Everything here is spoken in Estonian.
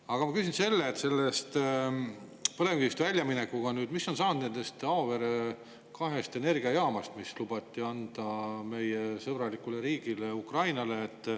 Aga ma küsin seoses põlevkivi loobumisega, mis on saanud kahest Auvere energiajaamast, mis lubati anda meie sõbrale Ukraina riigile.